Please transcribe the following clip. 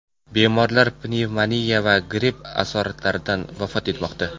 Bemorlar pnevmoniya va gripp asoratlaridan vafot etmoqda.